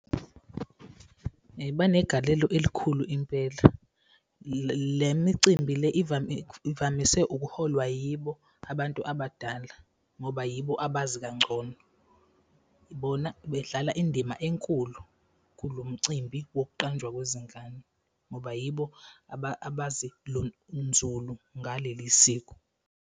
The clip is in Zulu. Banegalelo elikhulu impela. Le micimbi le ivamise ukuholwa yibo abantu abadala ngoba yibo abazi kangcono. Ngibona bedlala indima enkulu kulo mcimbi wokuqanjwa kwezingane ngoba yibo abazi nzulu ngaleli siko.